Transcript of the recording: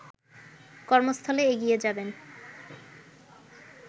কর্মস্থলে এগিয়ে যাবেন